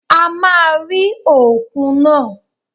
A máa rí òkun náà